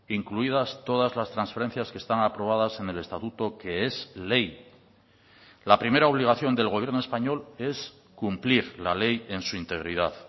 incluidas todas las transferencias que están aprobadas en el estatuto que es ley la primera obligación del gobierno español es cumplir la ley en su integridad